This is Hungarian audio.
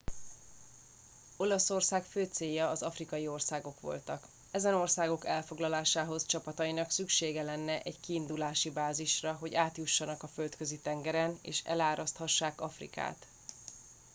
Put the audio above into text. olaszország fő célja az afrikai országok voltak ezen országok elfoglalásához csapatainak szüksége lenne egy kiindulási bázisra hogy átjuthassanak a földközi tengeren és eláraszthassák afrikát